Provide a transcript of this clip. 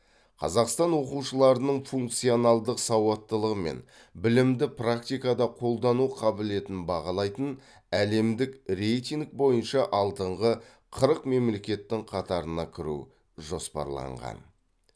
қазақстан оқушыларының функционалдық сауаттылығы мен білімді практикада қолдану қабілетін бағалайтын әлемдік рейтинг бойынша алдыңғы қырық мемлекеттің қатарына кіру жоспарланған